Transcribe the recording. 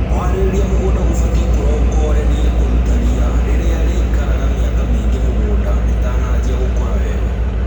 Kũharĩria mũgũnda gũbatie kũrongorerie kũruta riia rĩrĩa rĩikaraga mĩaka mĩingĩ mũgũnda rĩtanajia gũkũra weru.